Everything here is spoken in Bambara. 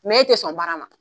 e tɛ sɔn baara ma.